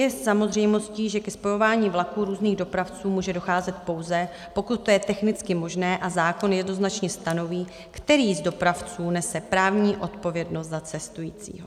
Je samozřejmostí, že ke spojování vlaků různých dopravců může docházet, pouze pokud to je technicky možné, a zákon jednoznačně stanoví, který z dopravců nese právní odpovědnost za cestující.